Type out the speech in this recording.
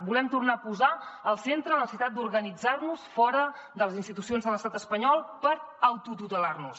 volem tornar a posar al centre la necessitat d’organitzar nos fora de les institucions de l’estat espanyol per autotutelar nos